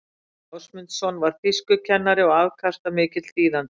gísli ásmundsson var þýskukennari og afkastamikill þýðandi